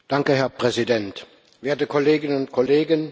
Herr Präsident, werte Kolleginnen und Kollegen!